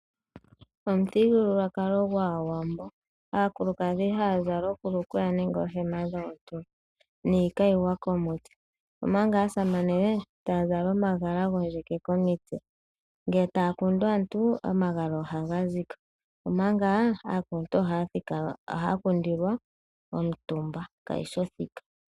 Omuthigululwakalo gwAawambo aakulukadhi oha ya zala oohulukweya nenge oohema dhoontulo niikayiwa komitse, omanga aasamane oha ya zala omagala gondjeke komitse. Ngele taya popitha aantu, omagala ohaye ga kuthako komitse. Aakuluntu ohaya kundwa omuntu eli omutumba.